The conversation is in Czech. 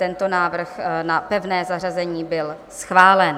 Tento návrh na pevné zařazení byl schválen.